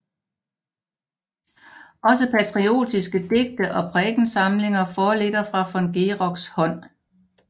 Også patriotiske digte og prædikensamlinger foreligger fra von Geroks hånd